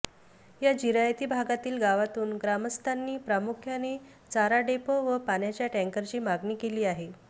या जिरायती भागातील गावांतून ग्रामस्थांनी प्रामुख्याने चारा डेपो व पाण्याच्या टॅंकरची मागणी केली आहे